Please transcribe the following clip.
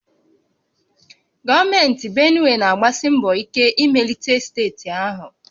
Gọọmenti Benue na-agbasi mbọ ike imelite steeti ahụ